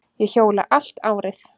Ég hjóla allt árið.